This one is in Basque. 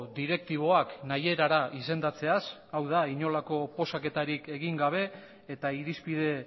direktiboak nahi erara izendatzeaz hau da inolako oposaketarik egin gabe eta irizpide